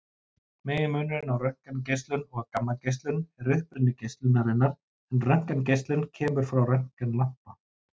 Meginmunurinn á röntgengeislun og gammageislun er uppruni geislunarinnar en röntgengeislun kemur frá röntgenlampa.